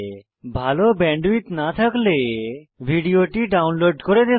ভাল ব্যান্ডউইডথ না থাকলে ভিডিওটি ডাউনলোড করে দেখুন